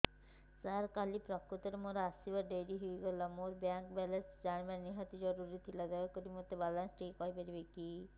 ସାର କାଲି ପ୍ରକୃତରେ ମୋର ଆସିବା ଡେରି ହେଇଗଲା ମୋର ବ୍ୟାଙ୍କ ବାଲାନ୍ସ ଜାଣିବା ନିହାତି ଜରୁରୀ ଥିଲା ଦୟାକରି ମୋତେ ମୋର ବାଲାନ୍ସ ଟି କହିପାରିବେକି